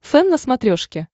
фэн на смотрешке